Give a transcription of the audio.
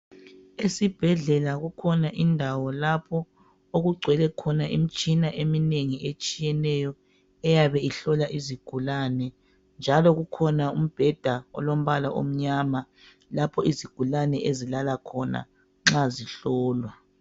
Esibhedlela kukhona indawo lapho okugcwele khona imtshina eminengi etshiyeneyo eyabe ihlola izigulane. Njalo kukhona umbheda olombala omnyama lapho izigulane ezilala khona nxa zihlolwa.